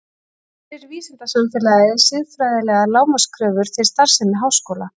Gerir vísindasamfélagið siðfræðilegar lágmarkskröfur til starfsemi háskóla?